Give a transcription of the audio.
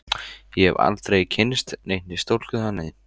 Ég hef aldrei kynnst neinni stúlku þannig.